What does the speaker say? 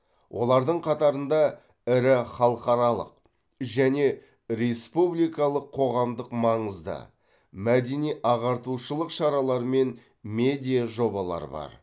олардың қатарында ірі халықаралық және республикалық қоғамдық маңызды мәдени ағартушылық шаралар мен медиа жобалар бар